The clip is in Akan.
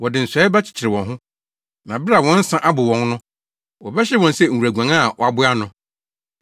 Pɔw biara a wɔbɛbɔ atia Awurade no, ɔbɛsɛe no; ɔhaw biara remma nto so mprenu.